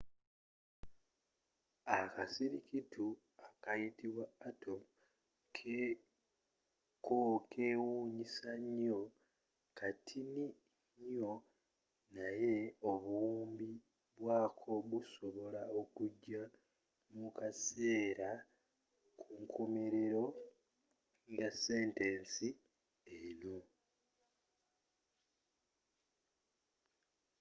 akasirikitu akayitibwa atom cokewunyisa nyoo katini nyoo naye obuwumbi bwako busobola okuja mukaseera kunkomerero ya sentesi eno